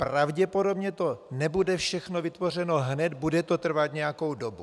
Pravděpodobně to nebude všechno vytvořeno hned, bude to trvat nějakou dobu.